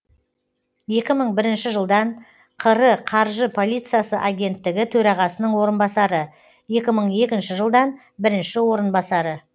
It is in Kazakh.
екі мың бірінші жылдан қр қаржы полициясы агенттігі төрағасының орынбасары екі мың екінші жылдан бірінші орынбасары